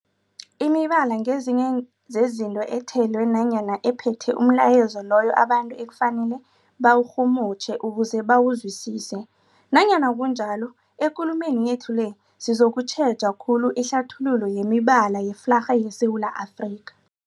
Imibala ngezinye zezinto ethelwe nanyana ephethe umlayezo loyo abantu ekufanele bawurhumutjhe ukuze bawuzwisise. Nanyana kunjalo, ekulumeni yethu le sizokutjheja khulu ihlathululo yemibala yeflarha yeSewula Afrika.